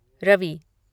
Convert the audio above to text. Ravi